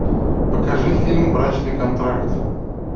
покажи фильм брачный контракт